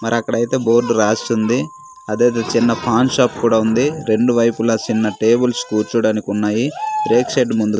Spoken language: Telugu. మరక్కడైతే బోర్డు రాసుంది అదేదో చిన్న పాన్ షాప్ కూడా ఉంది రెండు వైపులా సిన్న టేబుల్స్ కూర్చోడానికున్నాయి రేక్ షెడ్డు ముందు--